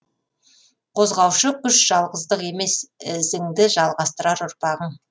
қозғаушы күш жалғыздық емес ізіңді жалғастырар ұрпағың